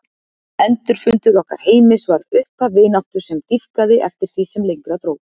Endurfundur okkar Heimis varð upphaf vináttu sem dýpkaði eftir því sem lengra dró.